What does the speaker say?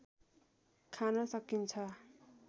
खान सकिन्छ